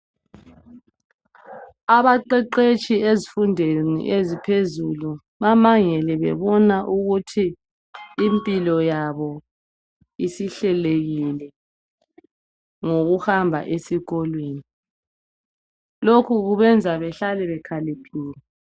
Abaqetshetshi ezifundweni eziphezulu bamangele bebona ukuthi impilo yabo isihlelekile ngokuhamba esikolweni lokhu kubenza behlale bekhaliphile